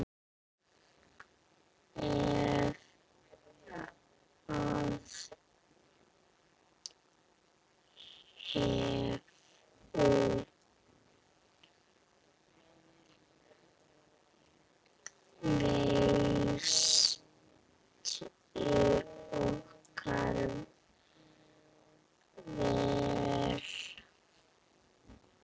Það hefur reynst okkur vel.